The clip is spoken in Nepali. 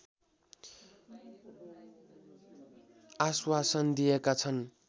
आश्वासन दिएका छन्